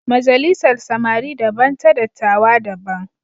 Majalisar samari daban ta dattijawa da daban